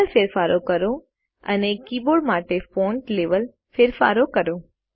કલરમાં ફેરફારો કરો અને કીબોર્ડ માટે ફોન્ટ લેવલ ફેરફારો કરો